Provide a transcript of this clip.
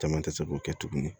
Caman tɛ se k'o kɛ tuguni